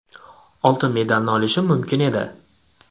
Oltin medalni olishim mumkin edi.